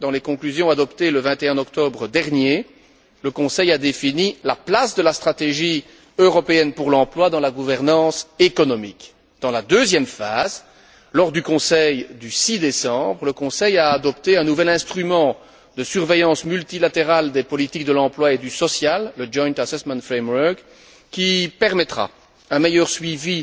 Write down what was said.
Dans les conclusions adoptées le 21 octobre dernier, le Conseil a défini la place de la stratégie européenne pour l'emploi dans la gouvernance économique. Dans la deuxième phase, lors du Conseil du 6 décembre, le Conseil a adopté un nouvel instrument de surveillance multilatérale des politiques de l'emploi et du social joint assessment framework qui permettra un meilleur suivi